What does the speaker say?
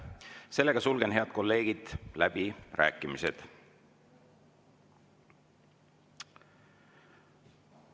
Seega, head kolleegid, sulgen läbirääkimised.